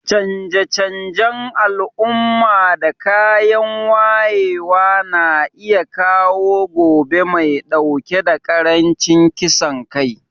Canje-canjen al'umma da kayan wayewa na iya kawo gobe mai dauke da karancin kisan kai.